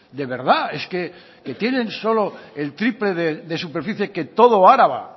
de verdad es que que tienen solo el triple de superficie que todo araba